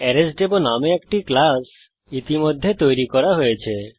আরেসডেমো নামে একটা ক্লাস ইতিমধ্যে তৈরি করা হয়েছে